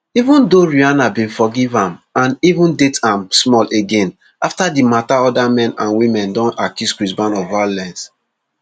even though rihanna bin forgive am and even date am small again afta di mata oda men and and women don accuse chris brown of violence